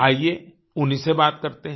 आइये उन्हीं से बात करते हैं